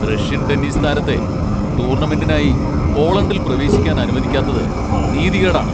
Russian tennis താരത്തെ ടൂർണമെന്റിനായി പോളണ്ടിൽ പ്രവേശിക്കാൻ അനുവദിക്കാത്തത് നീതികേടാണ്.